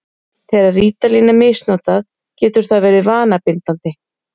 Þegar rítalín er misnotað getur það verið vanabindandi.